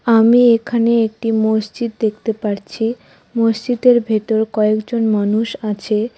আমি এখানে একটি মসজিদ দেখতে পারছি মসজিদের ভেতর কয়েকজন মানুষ আছে।